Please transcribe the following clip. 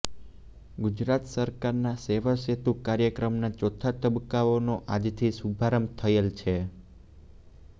ગુજરાત સરકારના સેવાસેતુ કાર્યક્રમના ચોથા તબક્કાનો આજથી શુભારંભ થયેલ છે